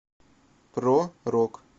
про рок